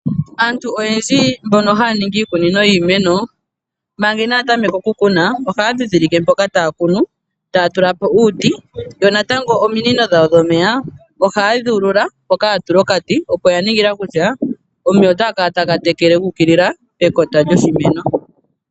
Aantu oyendji mbono haya ningi iikunino yiimeno, manga inaatameka oku kuna ohaya ndhindhilike mpoka taya kunu taya tula po uuti. Natango ominino dhawo dhomeya ohaye dhi ulula mpoka yatula okati, opo ya ningila kutya omeya otaga kala taga tekele guukilila pekota lyoshimeno.